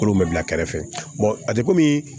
Kolo mɛ bila kɛrɛfɛ a tɛ komi